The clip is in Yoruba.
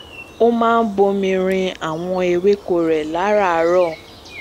ó máa ń bomi rin àwọn ewéko rẹ láràárọ